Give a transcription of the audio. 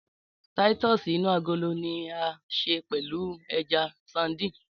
Táítọ̀sì inú agolo ni a ṣe pẹ̀lú ẹja sandínì